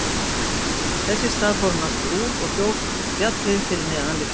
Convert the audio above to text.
Þess í stað fór hann aftur út og hljóp upp fjallið fyrir neðan lyftuna.